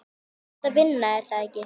Þú ert að vinna, er það ekki?